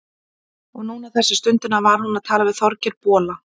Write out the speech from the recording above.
Og núna, þessa stundina, var hún að tala við Þorgeir bola.